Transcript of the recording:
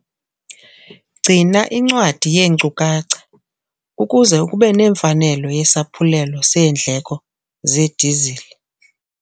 Gcina incwadi yeenkcukacha ukuze ube nemfanelo yesaphulelo seendleko zedizili